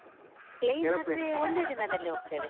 ಆದ್ರೆ ಒಂದೇ ದಿನದಲ್ಲಿ ಹೋಗ್ತದೆ.